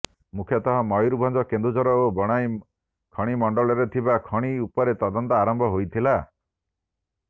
ମୁଖ୍ୟତଃ ମୟୂରଭଞ୍ଜ କେନ୍ଦୁଝର ଓ ବଣାଇ ଖଣିମଣ୍ଡଳରେ ଥିବା ଖଣି ଉପରେ ତଦନ୍ତ ଆରମ୍ଭ ହୋଇଥିଲା